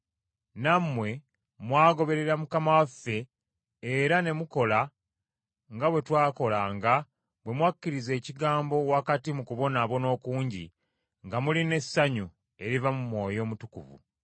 Nammwe mwagoberera Mukama waffe era ne mukola nga bwe twakolanga bwe mwakkiriza ekigambo wakati mu kubonaabona okungi nga mulina essanyu eriva mu Mwoyo Omutukuvu,